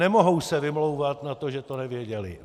Nemohou se vymlouvat na to, že to nevěděli.